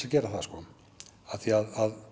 að gera það sko af því að